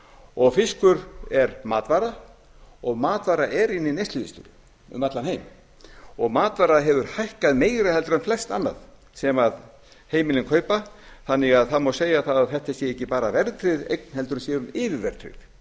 og fiskur er matvara og matvara er inni neyslu um allan heim og matvara hefur hækkað meira heldur en flest annað sem heimilin kaupa þannig að það má segja að þetta sé ekki bara verðtryggð eign heldur sé hún yfirverðtryggð hún